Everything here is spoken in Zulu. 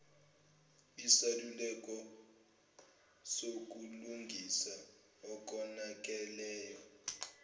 isaluleko sokulungisa okonakeleyo